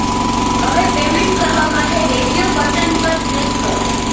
હવે પેમેન્ટ કરવા માટે રેડિયો બટન પર ક્લિક કરો